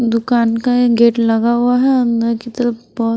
दुकान का एक गेट लगा हुआ है अंदर की तरफ बहोत--